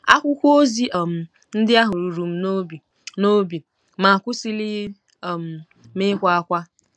Akwụkwọ ozi um ndị ahụ ruru m n’obi, n’obi, ma akwụsịlighị um m ịkwa ákwá.